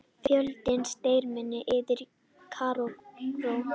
Fjöldinn streymir inn í Kaíró